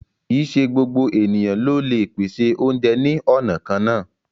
Kí í ṣè gbogbo ènìyàn ló le pèsè ọ̀unjẹ ni ọna kanna